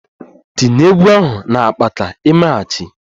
Tinye egwu ahụ na akpaaka-emeghachi!